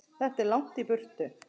Þetta er langt í burtu.